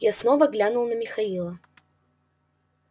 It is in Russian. я снова глянул на михаила